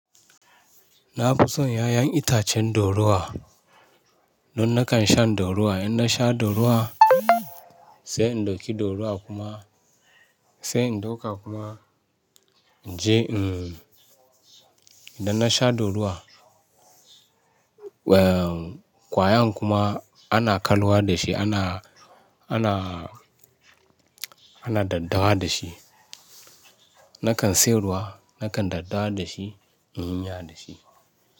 Na fi son 'ya'yan itacen dorowa don nakan shan dorowa. Idan na sha dorowa, sai in ɗauki dorowa kuma sai in ɗauka kuma inje. Idan na sha dorowa, ehn, kwayan kuma ana kalwa da shi, ana, ana, ana daddawa da shi. Nakan siyarwa, nakan daddawa da shi, in yi miys da shi.